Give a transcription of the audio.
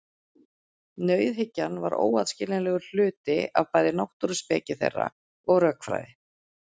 Nauðhyggjan var óaðskiljanlegur hluti af bæði náttúruspeki þeirra og rökfræði.